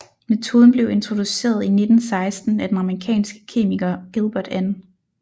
Metoden blev introduceret 1916 af den amerikanske kemiker Gilbert N